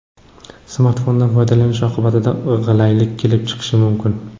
Smartfondan foydalanish oqibatida g‘ilaylik kelib chiqishi mumkin.